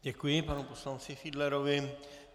Děkuji panu poslanci Fiedlerovi.